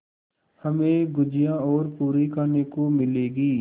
हमें गुझिया और पूरी खाने को मिलेंगी